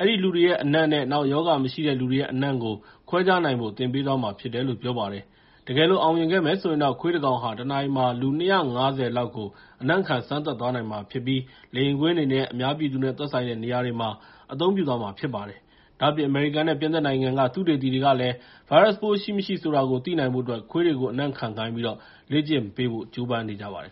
အဲဒီလူတွေရဲ့ အနံ့နဲ့ နောက် ရောဂါမရှိတဲ့လူတွေရဲ့ အနံ့တွေကို ခွဲခြားနိုင်ဖို့ သင်ပေးသွားမှာဖြစ်တယ်လို့ ပြောပါတယ်။ တကယ်လို့ အောင်မြင်ခဲ့မယ်ဆိုရင်တော့ ခွေးတကောင်ဟာ တနာရီမှာ လူ ၂၅၀ ကို အနံ့ခံ စမ်းသပ်သွားနိုင်မှာဖြစ်ပြီး လေယာဉ်ကွင်းတွေနဲ့ အများပြည်သူနဲ့ သက်ဆိုင်တဲ့ နေရာတွေမှာ အသုံးပြုသွားမှာ ဖြစ်ပါတယ်။ ဒါ့အပြင် အမေရိကန်နဲ့ ပြင်သစ်နိုင်ငံက သုတေသီတွေကလည်း ဗိုင်းရပ်စ်ပိုးရှိမရှိ ဆိုတာကို သိနိုင်ဖို့အတွက် ခွေးတွေကို အနံ့ခံခိုင်းပြီး လေ့ကျင့်ပေးဖို့ ကြိုးပမ်းနေကြပါတယ်